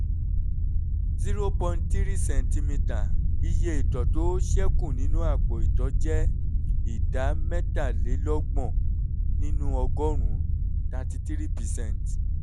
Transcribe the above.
three cm iye ìtọ̀ tó ṣẹ́ kù nínú àpò ìtọ̀ jẹ́ ìdá mẹ́tàlélọ́gbọ̀n nínú ọgọ́rùn-ún ( thirty three percent)